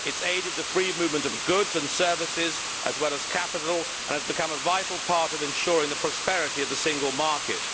It has aided the free movement of goods and services, as well as capital, and has become a vital part of ensuring the prosperity of the single market.